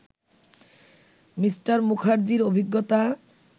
Me. মুখার্জির অভিজ্ঞতা